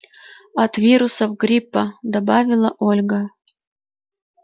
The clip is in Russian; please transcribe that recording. от вирусов гриппа добавила ольга